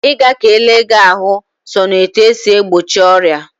Ị ga ka ele gị ahụ sọ na etu e si egbochi ọrịa.